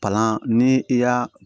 Palan ni i y'a